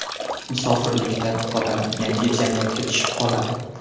Musofirlikda odam yangi jamiyatga tushib qoladi.